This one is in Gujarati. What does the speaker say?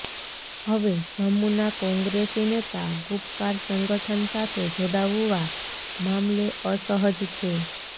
હવે જમ્મુના કોંગ્રેસી નેતા ગુપકાર સંગઠન સાથે જોડાવવા મામલે અસહજ છે